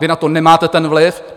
Vy na to nemáte ten vliv.